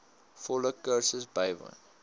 volle kursus bywoon